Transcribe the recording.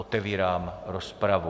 Otevírám rozpravu.